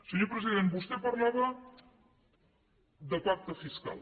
senyor president vostè parlava de pacte fiscal